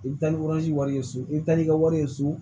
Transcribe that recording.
I bɛ taa ni wari ye so i bɛ taa n'i ka wari ye so